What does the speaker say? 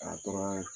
A tora